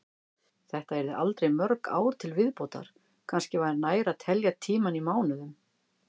Þetta yrðu aldrei mörg ár til viðbótar, kannski var nær að telja tímann í mánuðum.